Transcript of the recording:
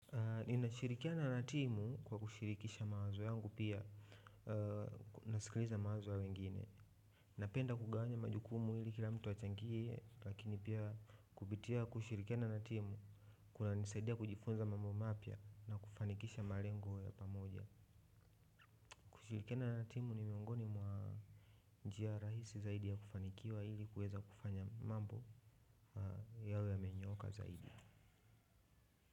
Ninashirikiana na timu kwa kushirikisha mawazo yangu pia, nasikiliza mawazo ya wengine. Napenda kugawanya majukumu ili kila mtu achangie, lakini pia kupitia kushirikiana na timu kunanisaidia kujifunza mambo mapya na kufanikisha malengo ya pamoja. Kushirikiana na timu ni miongoni mwa njia rahisi zaidi ya kufanikiwa ili kuweza kufanya mambo yawe yamenyooka zaidi.